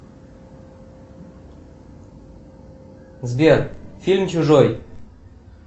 сбер фильм чужой